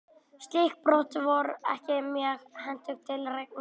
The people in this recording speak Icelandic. Slík brot voru ekki mjög hentug til reikninga.